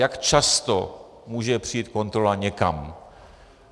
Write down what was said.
Jak často může přijít kontrola někam?